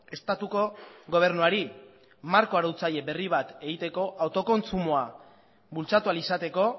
estatuko gobernuari marko arautzaile berri bat egiteko autokontsumoa bultzatu ahal izateko